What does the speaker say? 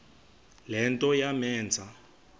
le nto yamenza